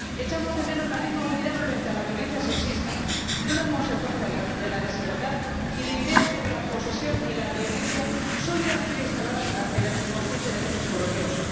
Echamos de menos la misma unidad frente a la violencia sexista —una consecuencia de la desigualdad— e ideas sobre la posesión y la violencia sólidamente instaladas en el subconsciente de muchos europeos.